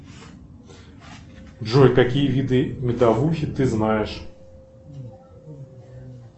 джой какие виды медовухи ты знаешь